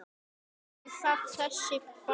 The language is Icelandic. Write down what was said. Er það þessi bær?